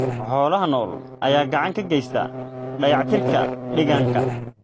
Xoolaha nool ayaa gacan ka geysta dayactirka deegaanka.